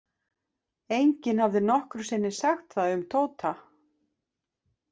Enginn hafði nokkru sinni sagt það um Tóta.